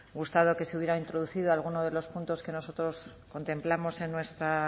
gustado que se hubiera introducido algunos de los puntos que nosotros contemplamos en nuestra